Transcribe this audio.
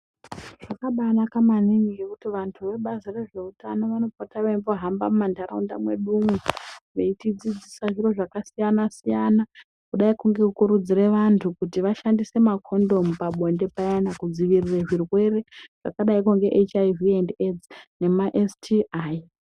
Zvakabanaka maningi ngekuti vantu vebazi rezvehutano vanopota veimbo hamba mumanharaunda mwedu. Veitidzidzisa zviro zvakasiyana-siyana, kudaiko nekukurudzira vantu kuti vashandise makondomu pabonde payana kudzivirire zvirwere zvakadaroko nehiv endi eidzi nemasti.